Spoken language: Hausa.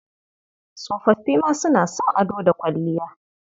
Tsofoffi ma suna son ado da kwalliya.